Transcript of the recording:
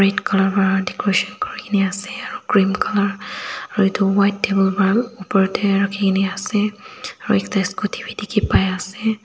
Red colour para decoration kurikena ase aro cream colour aro etu white table para olop opor dae rakhikena ase aro ekta scooty bhi dekhi pai ase.